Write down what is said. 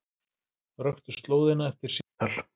Röktu slóðina eftir símtal